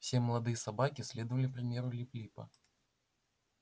все молодые собаки следовали примеру лип липа